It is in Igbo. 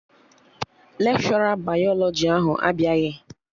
Lekshọra bayalọjị ahụ abịaghị